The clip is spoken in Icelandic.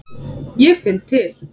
Ég finn til.